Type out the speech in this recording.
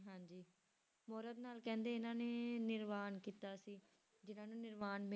ਮੁਹਰਤ ਨਾਲ ਕਹਿੰਦੇ ਇਹਨਾਂ ਨੇ ਨਿਰਵਾਣ ਕੀਤਾ ਸੀ ਜਿੰਨਾਂ ਨੂੰ ਨਿਰਵਾਣ